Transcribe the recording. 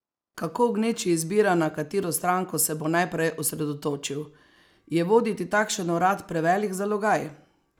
Kako v gneči izbira, na katero stranko se bo najprej osredotočil?